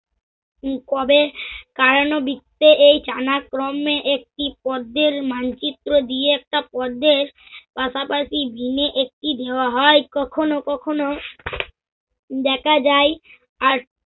উম কবে করানো বৃত্তে এই জানাক্রমে একটি পদ্দের মানচিত্র দিয়ে একটা পদ্মের পাশাপাশি ভিমে একটি দেওয়া হয়। কখনো কখনো দেখা যায় আর